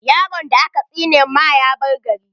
Yaron da aka tsine ma ya bar gari.